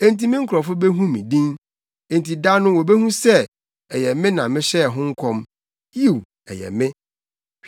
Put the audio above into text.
Enti me nkurɔfo behu me din; enti da no wobehu sɛ ɛyɛ me na mehyɛɛ ho nkɔm. Yiw, ɛyɛ me.”